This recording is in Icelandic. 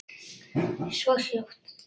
Og svo er hljótt.